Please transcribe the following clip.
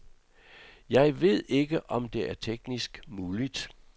Jeg ved ikke, om det er teknisk muligt.